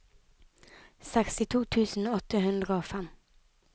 sekstito tusen åtte hundre og fem